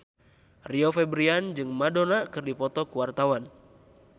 Rio Febrian jeung Madonna keur dipoto ku wartawan